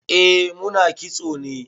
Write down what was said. Eh mu na kitso ne.